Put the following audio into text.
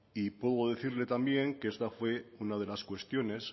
y puedo decirle también que esta fue una de las cuestiones